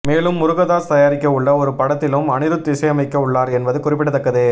மேலும் முருகதாஸ் தயாரிக்க உள்ள ஒரு படத்திலும் அனிருத் இசையமைக்கவுள்ளார் என்பது குறிப்பிடத்தக்கது